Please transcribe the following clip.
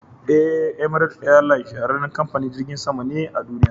E, "Emirate airline shahararren kamfanin jirgin sama ne a duniya.